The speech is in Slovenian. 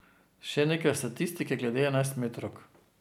Še nekaj statistike glede enajstmetrovk.